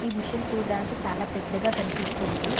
ఈ మిషన్ చూడ్డానికి చాలా పెద్దగా కనిపిస్తుంది.